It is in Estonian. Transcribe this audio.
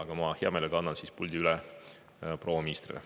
Aga ma hea meelega annan puldi üle proua ministrile.